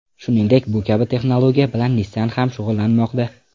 Shuningdek, bu kabi texnologiya bilan Nissan ham shug‘ullanmoqda.